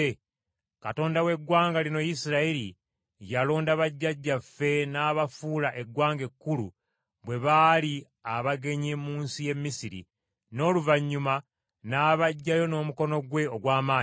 Katonda w’eggwanga lino Isirayiri yalonda bajjajjaffe n’abafuula eggwanga ekkulu bwe baali abagenyi mu nsi y’e Misiri n’oluvannyuma n’abaggyayo n’omukono gwe ogw’amaanyi,